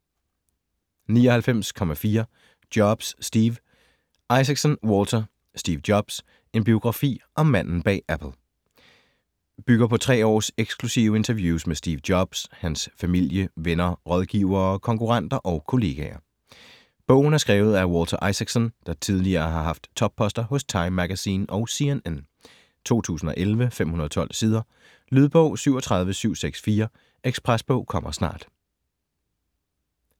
99.4 Jobs, Steve Isaacson, Walter: Steve Jobs: En biografi om manden bag Apple Bygger på tre års eksklusive interviews med Steve Jobs, hans familie, venner rådgivere, konkurrenter og kolleger. Bogen er skrevet af Walter Isaacson, der tidligere har haft topposter hos Time Magazine og CNN. 2011, 512 sider. Lydbog 37764 Ekspresbog - kommer snart